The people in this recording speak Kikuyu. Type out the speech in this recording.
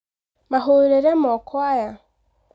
Mahũrĩre moko aya